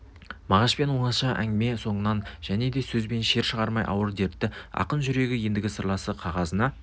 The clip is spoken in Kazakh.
мағашпен оңаша ұзақ әңгіме соңынан және де сөз бен шер шығармай ауыр дертті ақын жүрегі ендігі сырласы қағазына